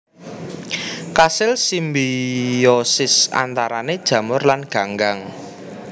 Kasil simbiosis antarané jamur lan ganggang